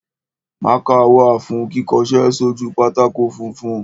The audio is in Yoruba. Mákà wà fún kíkọṣẹ́ sójú pátákó funfun.